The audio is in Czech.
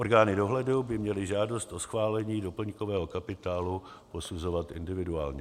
Orgány dohledu by měly žádost o schválení doplňkového kapitálu posuzovat individuálně.